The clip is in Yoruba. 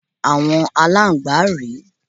Àwọn Aláǹgbá rè é.